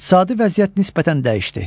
İqtisadi vəziyyət nisbətən dəyişdi.